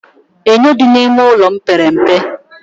Enyo dị n'ime ụlọ m pere mpe